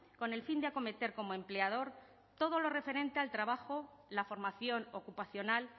con el fin de acometer como empleador todo lo referente al trabajo la formación ocupacional